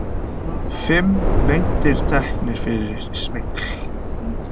Fimm menn teknir fyrir smygl